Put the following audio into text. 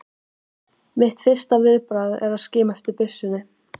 Mitt fyrsta viðbragð er að skima eftir byssunni.